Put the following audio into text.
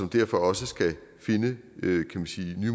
derfor også finde nye